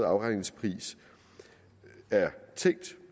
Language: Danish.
afregningspris er tænkt